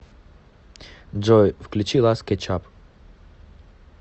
джой включи лас кетчап